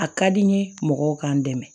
A ka di n ye mɔgɔw k'an dɛmɛ